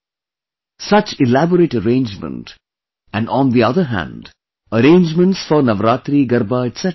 Such elaborate arrangement and on the other hand, arrangements for Navratri Garba etc